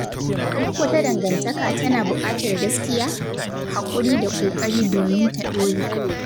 Duk wata dangantaka tana buƙatar gaskiya, haƙuri da ƙoƙari domin ta ɗore.